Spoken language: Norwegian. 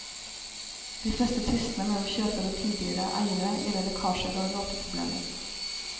De fleste tvistene mellom kjøper og tidligere eiere gjelder lekkasjer og råteproblemer.